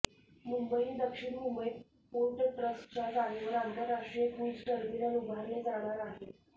मुंबई दक्षिण मुंबईत पोर्ट ट्रस्टच्या जागेवर आंतरराष्ट्रीय क्रूझ टर्मिनल उभारले जाणार आहे